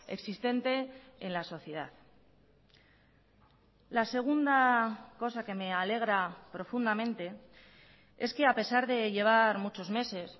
existente en la sociedad la segunda cosa que me alegra profundamente es que a pesar de llevar muchos meses